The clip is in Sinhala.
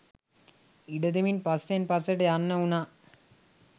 ඉඩ දෙමින් පස්සෙන් පස්සට යන්න වුණා.